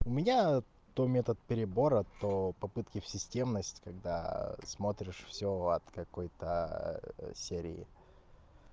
у меня то метод перебора то попытки в системность когда смотришь всё от какой-то серии